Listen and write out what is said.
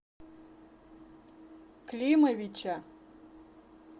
климовича